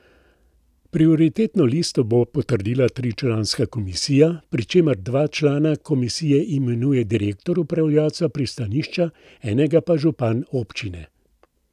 Prioritetno listo bo potrdila tričlanska komisija, pri čemer dva člana komisije imenuje direktor upravljavca pristanišča, enega pa župan občine.